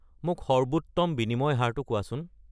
মোক সৰ্বোত্তম বিনিময় হাৰটো কোৱাচোন